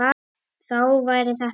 Þá væri þetta búið.